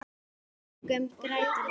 Döggum grætur rós.